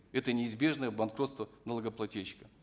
это неизбежное банкротство налогоплательщика